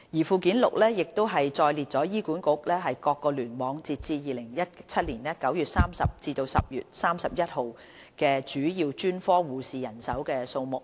附件六載列醫管局各聯網截至2017年9月30日及10月31日主要專科護士的人手數目。